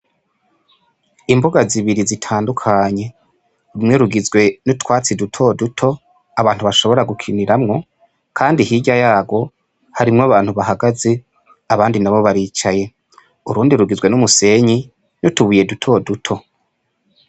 Imbuga zibiri zitandukanye rumwe rugizwe n' utwatsi duto duto abantu bashobora gukiniramwo, kandi hirya yagwo abantu bahagaze abandi nabo baricaye urundi rugizwe n' umusenyi n' utubuye duto duto.